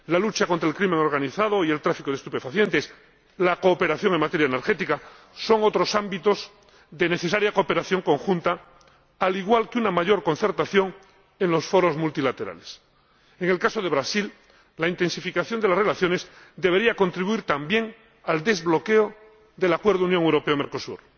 La lucha contra el crimen organizado y el tráfico de estupefacientes, y la cooperación en materia energética son otros ámbitos de necesaria cooperación conjunta, al igual que una mayor concertación en los foros multilaterales. En el caso de Brasil, la intensificación de las relaciones debería contribuir también al desbloqueo del Acuerdo Unión Europea Mercosur.